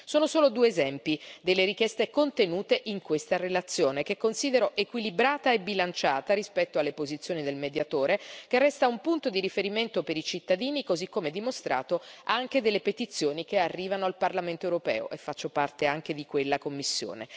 Sono solo due esempi delle richieste contenute in questa relazione, che considero equilibrata e bilanciata rispetto alle posizioni del Mediatore, che resta un punto di riferimento per i cittadini così come dimostrato anche dalle petizioni che arrivano al Parlamento europeo, e faccio parte anche di quella commissione.